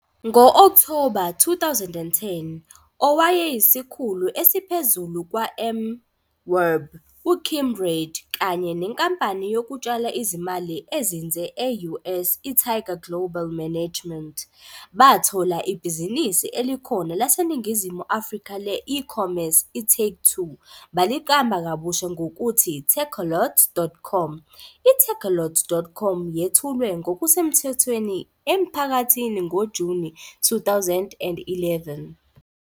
Ngo-Okthoba 2010, owayeyisikhulu esiphezulu kwa-MWEB uKim Reid kanye nenkampani yokutshala izimali ezinze e-US i- Tiger Global Management bathola ibhizinisi elikhona laseNingizimu Afrika le-ecommerce i-Take2, baliqamba kabusha ngokuthi takealot.com. I-Takealot.com yethulwe ngokusemthethweni emphakathini ngoJuni 2011.